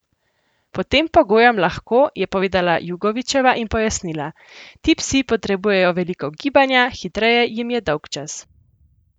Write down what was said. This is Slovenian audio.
Pod tem pogojem lahko," je povedala Jugovičeva in pojasnila: "Ti psi potrebujejo veliko gibanja, hitreje jim je dolgčas.